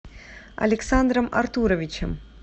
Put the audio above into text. александром артуровичем